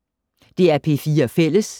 DR P4 Fælles